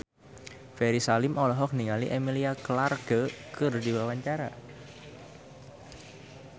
Ferry Salim olohok ningali Emilia Clarke keur diwawancara